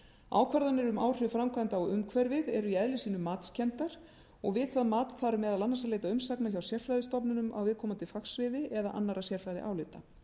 ákvarðanir um áhrif framkvæmda á umhverfið eru í eðli sínu matskenndar og við það mat þarf meðal annars að leita umsagna hjá sérfræðistofnunum á viðkomandi fagsviði eða annarra sérfræðiálita